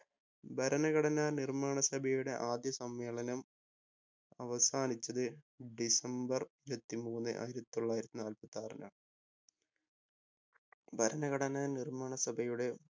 ഭരണഘടനാ നിർമ്മാണ സഭയുടെ ആദ്യ സമ്മേളനം അവസാനിച്ചത് ഡിസംബർ ഇരുപത്തി മൂന്ന് ആയിരത്തി തൊള്ളായിരത്തി നാല്പത്തി ആറിനാണ് ഭരണഘടനാ നിർമ്മാണ സഭയുടെ